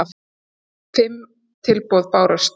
Fimm tilboð bárust